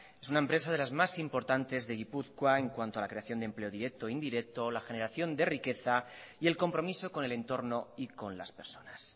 es una empresa de las más importantes de gipuzkoa en cuanto a la creación de empleo directo e indirecto la generación de riqueza y el compromiso con el entorno y con las personas